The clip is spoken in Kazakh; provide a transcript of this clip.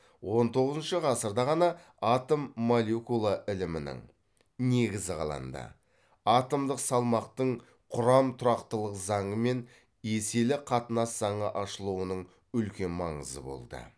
он тоғызыншы ғасырда ғана атом молекула ілімінің негізі қаланды атомдық салмақтың құрам тұрақтылық заңы мен еселі қатынас заңы ашылуының үлкен маңызы болды